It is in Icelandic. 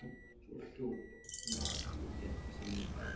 Svo hljóp hún áfram léttstíg inn í bæ.